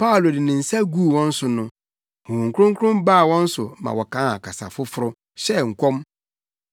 Paulo de ne nsa guu wɔn so no, Honhom Kronkron baa wɔn so ma wɔkaa kasa foforo, hyɛɛ nkɔm.